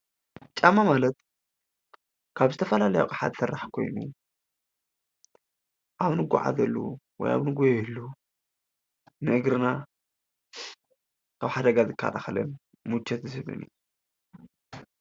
ጫማ ማለት ካብ ዝተፈላለዩ ኣቅሓ ዘስራሕ ኾይኑ አብ ንጎዓዘሉ ወይ አብ ንጎየሉ ንእግርና ካብ ሓደጋ እንከላኸለሉ ሙቸት ዝህብን እዩ።